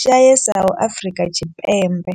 shayesaho Afrika Tshipembe.